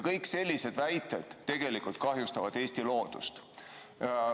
Kõik sellised väited tegelikult kahjustavad Eesti loodust.